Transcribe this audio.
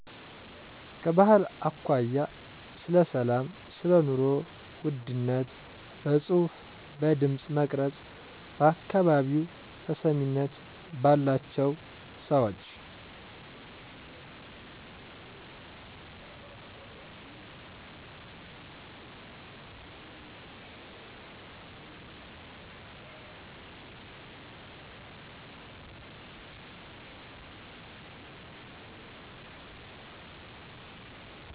ከባህል አኮያ ስለ ሰላም ሰለኑሮ ውድነት በጽሁፍ በድምጽ መቅረጽ በአካባቢው ተሰሚነት ባላቸው ሰወች